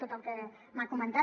tot el que m’ha comentat